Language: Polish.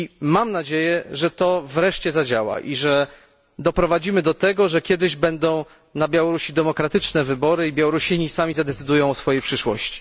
Mam nadzieję, że to wreszcie zadziała i że doprowadzimy do tego, że kiedyś na Białorusi odbędą się wreszcie demokratyczne wybory i że Białorusini sami zadecydują o swojej przyszłości.